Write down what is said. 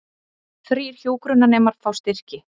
Þrír hjúkrunarnemar fá styrki